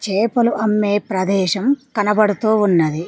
చేపలు అమ్మే ప్రదేశం కనబడుతూ ఉన్నది.